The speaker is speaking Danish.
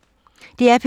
DR P2